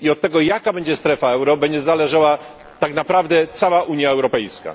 Od tego, jaka będzie strefa euro, będzie zależała tak naprawdę cała Unia Europejska.